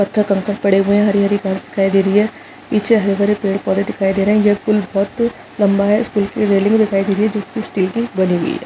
पत्थर कंकड़ पड़े हुए हैहरी - हरी घास दिखाई दे रही है पीछे हरे - भरे पेड़ - पौधे दिखाई दे रहे है ये पुल बहुत लम्बा है इस पूल की रेलिंग दिखाई दे रही है जो की स्टील की बनी हुई है।